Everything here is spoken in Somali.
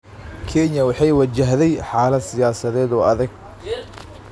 Kenya waxay wajahday xaalad siyaasadeed oo adag.